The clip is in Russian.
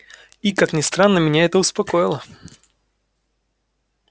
и как ни странно меня это успокоило